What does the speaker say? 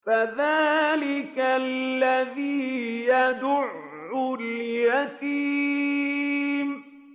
فَذَٰلِكَ الَّذِي يَدُعُّ الْيَتِيمَ